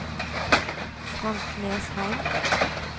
Frank Nesheim